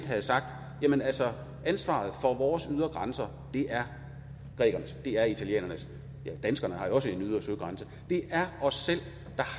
have sagt jamen altså ansvaret for vores ydre grænser er grækernes det er italienernes og danskerne har jo også en ydre søgrænse det er os selv der